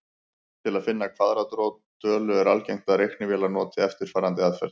Til að finna kvaðratrót tölu er algengt að reiknivélar noti eftirfarandi aðferð.